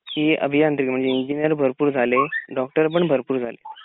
की अभियांत्रिक म्हणजे इंजिनेर भरपूर झाले डॉक्टर पण भरपूर झाले